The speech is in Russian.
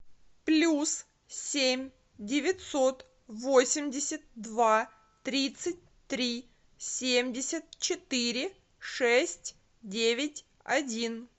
плюс семь девятьсот восемьдесят два тридцать три семьдесят четыре шесть девять один